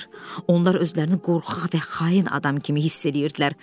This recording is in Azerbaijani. Onlar özlərini qorxaq və xain adam kimi hiss edirdilər.